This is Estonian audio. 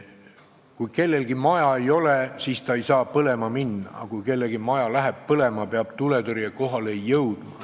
Kui kellelgi ei ole maja, siis see ei saa ka põlema minna, aga kui kellegi maja läheb põlema, peab tuletõrje kohale jõudma.